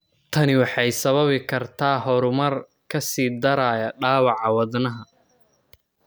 Tani waxay sababi kartaa horumar (ka sii daraya) dhaawaca wadnaha.